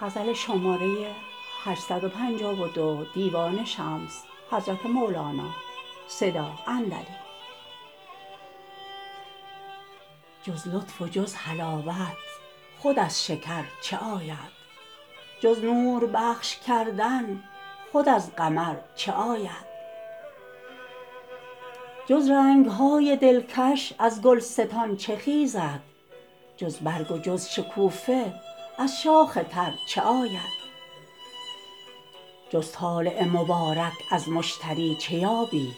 جز لطف و جز حلاوت خود از شکر چه آید جز نور بخش کردن خود از قمر چه آید جز رنگ های دلکش از گلستان چه خیزد جز برگ و جز شکوفه از شاخ تر چه آید جز طالع مبارک از مشتری چه یابی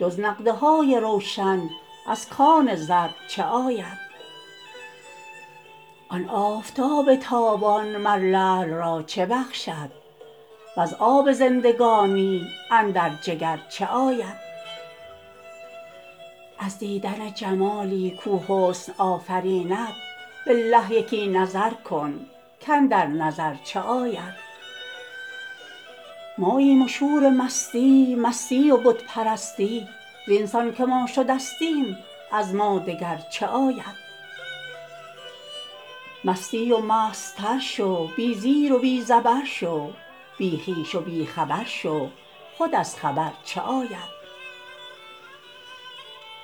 جز نقدهای روشن از کان زر چه آید آن آفتاب تابان مر لعل را چه بخشد وز آب زندگانی اندر جگر چه آید از دیدن جمالی کو حسن آفریند بالله یکی نظر کن کاندر نظر چه آید ماییم و شور مستی مستی و بت پرستی زین سان که ما شدستیم از ما دگر چه آید مستی و مستتر شو بی زیر و بی زبر شو بی خویش و بی خبر شو خود از خبر چه آید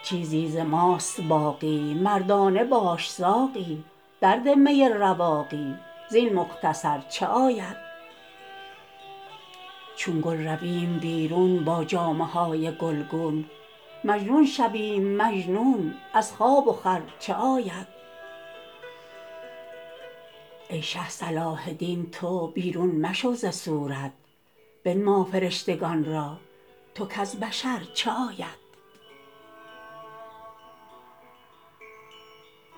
چیزی ز ماست باقی مردانه باش ساقی درده می رواقی زین مختصر چه آید چون گل رویم بیرون با جامه های گلگون مجنون شویم مجنون از خواب و خور چه آید ای شه صلاح دین تو بیرون مشو ز صورت بنما فرشتگان را تو کز بشر چه آید